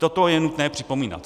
Toto je nutné připomínat.